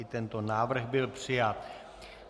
I tento návrh byl přijat.